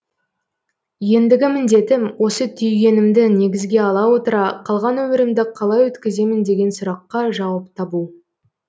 ендігі міндетім осы түйгенімді негізге ала отыра қалған өмірімді қалай өткіземін деген сұраққа жауап табу